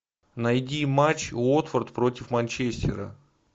найди матч уотфорд против манчестера